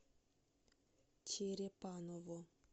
черепаново